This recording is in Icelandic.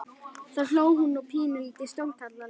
Þá hló hún og pínulítið stórkarlalega.